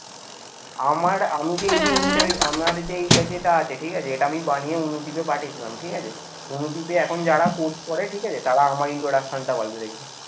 আমার আমি যে এই যে আমার যে এইটা যেটা আছে ঠিক আছে এটা আমি বানিয়ে অনুদ্বীপে পাঠিয়েছিলাম ঠিক আছে. অনুদ্বীপে এখন যারা course করে ঠিক আছে? তারা আমার এই introduction বলে দেখবে